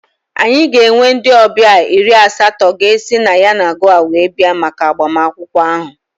Anyị ga-enwe ndị ọbịa iri asatọ ga-esi na Yenagoa were bịa maka agbamakwụkwọ ahụ